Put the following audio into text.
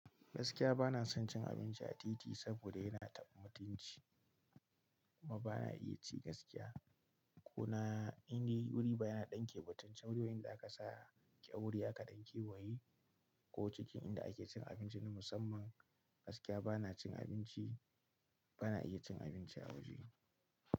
Gaskiya bana son cin abinci a titi saboda yana taɓa mutunci. Kuma bana iya ci gaskiya. Kuna inda wuri baya ɗanke mutuncin ruwa inda aka sa kyaure aka ɗanke wa ye ko cikin inda ake cin abinci na musamman. Gaskiya bana cin abinci, bana iya cin abinci a waje.